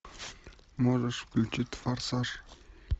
можешь включить форсаж